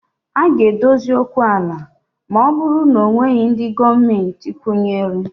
A ga-adozi okwu ala ma ọ bụrụ na ọ nweghị ndị Gọọmentị kwụnyere